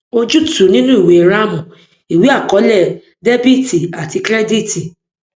ojútùú nínú ìwée ram ìwé àkọọlẹ dr cr